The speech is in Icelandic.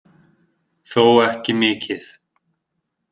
Þó ekki mikið